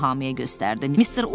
hamıya göstərdi.